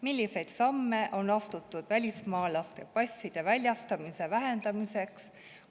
Milliseid samme on astutud välismaalase passide väljastamise vähendamiseks?